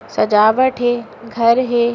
सजावट हे । घर हे ।